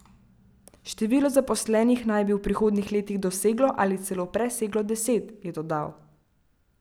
Število zaposlenih naj bi v prihodnjih letih doseglo ali celo preseglo deset, je dodal.